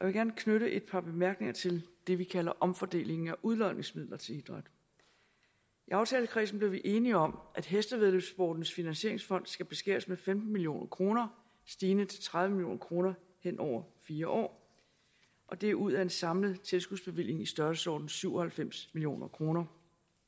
jeg vil gerne knytte et par bemærkninger til det vi kalder omfordelingen af udlodningsmidler til idræt i aftalekredsen blev vi enige om at hestevæddeløbssportens finansieringsfond skal beskæres med femten million kroner stigende til tredive million kroner hen over fire år og det er ud af en samlet tilskudsbevilling i størrelsesordenen syv og halvfems million kroner